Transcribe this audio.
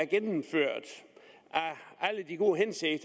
gennemført af alle de gode ting